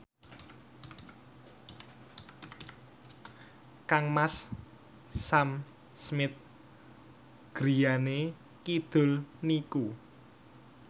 kangmas Sam Smith griyane kidul niku